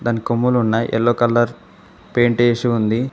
కొమ్ములున్న yellow colour paint చేసి ఉంది.